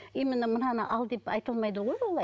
именно мынаны ал деп айта алмайды ғой олай